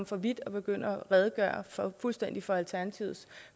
for vidt at begynde at redegøre fuldstændigt for alternativets